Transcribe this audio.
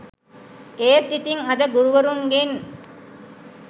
ඒත් ඉතින් අද ගුරුවරුන්ගෙන්